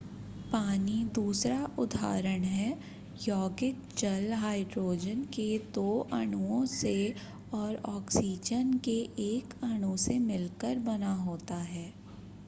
पानी दूसरा उदारहण है यौगिक जल हाइड्रोजन के दो अणुओं से और ऑक्सीजन के एक अणु से मिलकर बना होता है